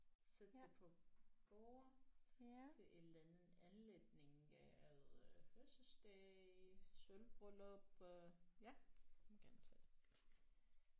Sætte det på borde til en eller anden anledning øh fødselsdag sølvbryllup øh ja du må gerne tage det